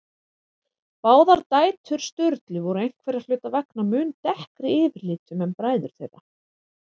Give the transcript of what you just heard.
Báðar dætur Sturlu voru einhverra hluta vegna mun dekkri yfirlitum en bræður þeirra.